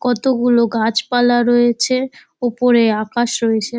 কতগুলো গাছপালা রয়েছে উপরে আকাশ রয়েছে।